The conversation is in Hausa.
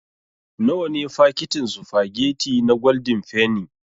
Nawa ne fakitin sufagetti na gwaldin fenni.